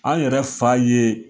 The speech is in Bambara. An yɛrɛ fa ye